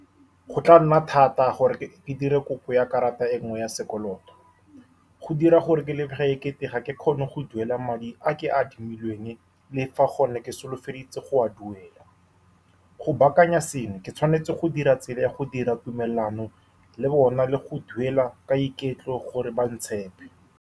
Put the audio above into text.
Go tla nna thata gore ke dire kopo ya karata e nngwe ya sekoloto. Go dira gore ke lebega ekete ga ke kgone go duela madi a ke a admilweng, le fa gone ke solofeditse go a duela. Go baakanya seno, ke tshwanetse go dira tsela ya go dira tumelano le bona, le go duela ka iketlo gore ba ntshepe.